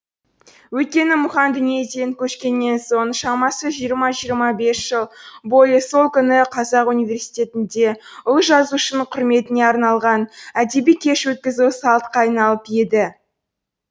өйткені мұхаң дүниеден көшкеннен соң шамасы жиырма жиырма бес жыл бойы сол күні қазақ университетінде ұлы жазушының құрметіне арналған әдеби кеш өткізу салтқа айналып еді